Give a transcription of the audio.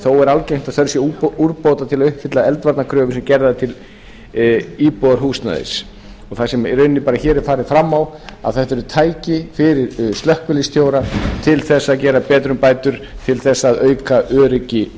þó er algengt að þau séu til úrbóta til að uppfylla eldvarnakröfur sem gerðar eru til íbúðarhúsnæðis það sem í rauninni hér er farið fram á að þetta eru tæki fyrir slökkviliðsstjóra til þess að gera betrumbætur til þess að auka öryggi